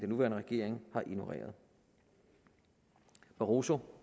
nuværende regering har ignoreret barroso